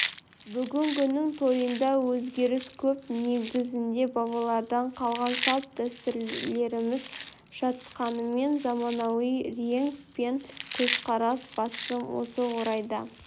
бүгінгінің тойында өзгеріс көп негізінде бабалардан қалған салт-дәстүрлеріміз жатқанымен заманауи реңк пен көзқарас басым осы орайда